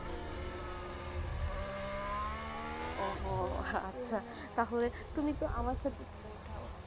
ওহ হো আচ্ছা টা হলে তুমি তো আমার সাথে করে উঠাও